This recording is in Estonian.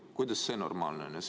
Kuidas see normaalne on?